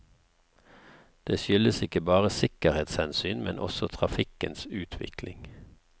Det skyldes ikke bare sikkerhetshensyn, men også trafikkens utvikling.